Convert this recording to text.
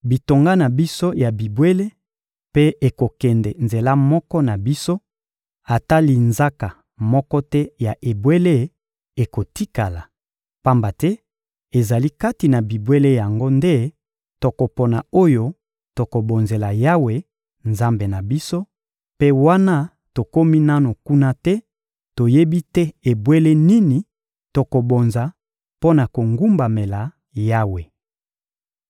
Bitonga na biso ya bibwele mpe ekokende nzela moko na biso; ata linzaka moko te ya ebwele ekotikala. Pamba te ezali kati na bibwele yango nde tokopona oyo tokobonzela Yawe, Nzambe na biso; mpe wana tokomi nanu kuna te, toyebi te ebwele nini tokobonza mpo na kogumbamela Yawe.